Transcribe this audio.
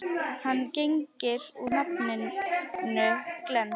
Hann gegnir nú nafninu Glenn.